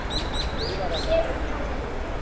Sefur hjá honum.